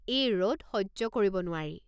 এই ৰ'দ সহ্য কৰিব নোৱাৰি।